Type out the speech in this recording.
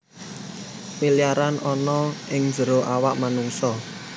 Miliaran ana ing jero awak manungsa